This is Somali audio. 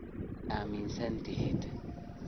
Maii aaminsatixid.